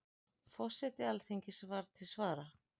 Forseti Alþingis var til svara.